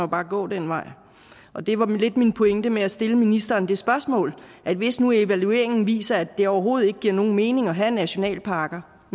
bare gå den vej og det var lidt min pointe med at stille ministeren det spørgsmål at hvis nu evalueringen viser at det overhovedet ikke giver nogen mening at have nationalparker